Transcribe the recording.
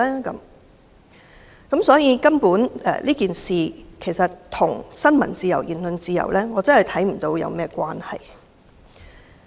因此，我看不到這事件與新聞自由和言論自由有何關係。